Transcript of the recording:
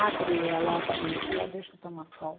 Abre ela assim, no sol, deixa tomar sol.